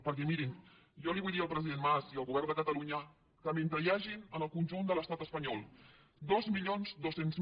perquè mirin jo vull dir al president mas i al govern de catalunya que mentre hi hagin en el conjunt de l’estat espanyol dos mil dos cents